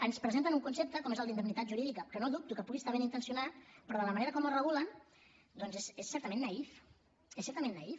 ens presenten un concepte com és el d’ indemnitat jurídica que no dubto que pugui estar ben intencionat però de la manera com el regulen doncs és certament naïf és certament naïf